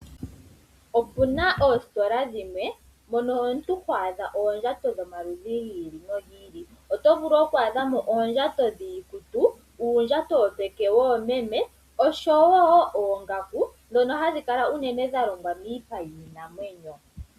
Opuna oositola dhimwe mono hamu adhika oondjato dhomaludhi gi ili. Ohamu vulu oku adhika oondjato dhiikutu, uundjato woomeme wopeke osho wo oongaku ndhono hadhi kala unene dhalongwa miipa yiinamwenyo.